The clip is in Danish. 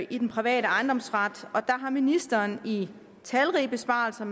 i den private ejendomsret og der har ministeren i talrige besvarelser